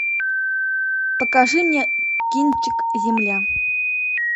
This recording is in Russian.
покажи мне кинчик земля